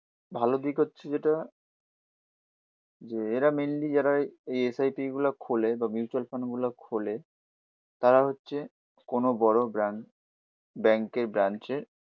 ভালো দিক হচ্ছে যেটা যে এরা মেইনলি যারা এই এস আই পি গুলো খোলে বা মিউচুয়াল ফান্ড গুলো খোলে তারা হচ্ছে কোনো বড়ো ব্র্যান্ড ব্যাংকের ব্রাঞ্চের